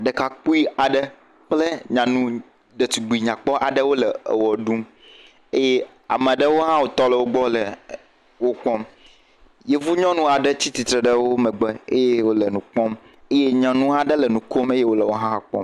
Ɖekakpui aɖe kple nyanu ɖetugbi nyakpɔ aɖewo le ewɔ ɖum eye ame aɖewo hã wo tɔ ɖe wo gbɔ ele wo kpɔ. Yevunyɔnu aɖe tsitsitre ɖe wo gbɔ le eye wole nu kpɔm eye nyanu aɖe le nu kom eye wohã kpɔm.